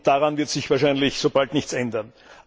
Daran wird sich wahrscheinlich so bald nichts ändern.